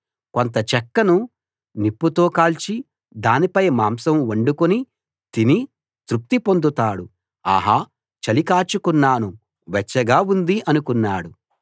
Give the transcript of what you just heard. కొంత చెక్కను నిప్పుతో కాల్చి దానిపై మాంసం వండుకుని తిని తృప్తి పొందుతాడు ఆహా చలి కాచుకున్నాను వెచ్చగా ఉంది అనుకున్నాడు